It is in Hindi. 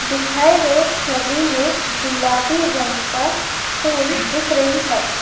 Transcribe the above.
दिखाए गए छबि में गुलाबी रंग का फूल दिख रही है।